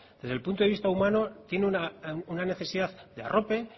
desde el punto de vista humano tiene una necesidad de arrope